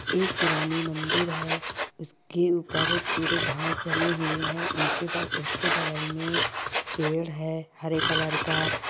एक पुरानी मंदिर है उसके ऊपर पुरे घास जमी हुई है उनके--उसके बगल में पेड़ है हरे कलर का--